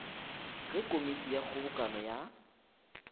ge komiti ya kgobokano ya